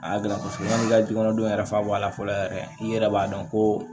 A y'a gilan kosɛbɛ yani i ka dukɔnɔndɔ yɛrɛ fa bɔ a la fɔlɔ yɛrɛ i yɛrɛ b'a dɔn ko